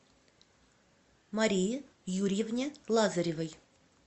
марии юрьевне лазаревой